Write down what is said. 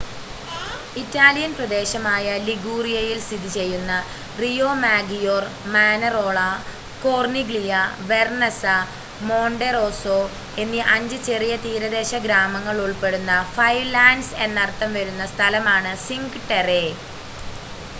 Italian പ്രദേശമായ ലിഗൂറിയയിൽ സ്ഥിതി ചെയ്യുന്ന Riomaggiore Manarola Corniglia Vernazza Monterosso എന്നീ അഞ്ച് ചെറിയ തീരദേശ ഗ്രാമങ്ങൾ ഉൾപ്പെടുന്ന ഫൈവ് ലാൻഡ്‌സ് എന്നർത്ഥം വരുന്ന സ്ഥലമാണ് സിൻക് ടെറെ